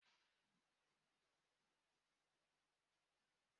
Ee, ebe a bú bọs stọọpu.